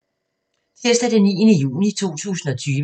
Tirsdag d. 9. juni 2020